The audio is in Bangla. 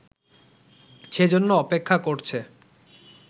সেজন্য অপেক্ষা করছে